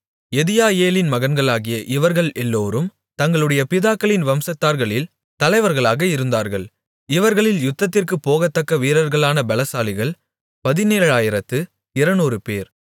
யெதியாயேலின் மகன்களாகிய இவர்கள் எல்லோரும் தங்களுடைய பிதாக்களின் வம்சத்தார்களில் தலைவர்களாக இருந்தார்கள் இவர்களில் யுத்தத்திற்குப் போகத்தக்க வீரர்களான பெலசாலிகள் பதினேழாயிரத்து இருநூறுபேர்